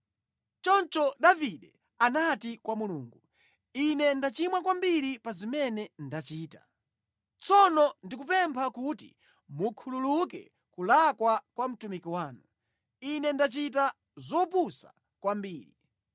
Choncho Davide anati kwa Mulungu, “Ine ndachimwa kwambiri pa zimene ndachita. Tsono ndikupempha kuti mukhululuke kulakwa kwa mtumiki wanu. Ine ndachita zopusa kwambiri.”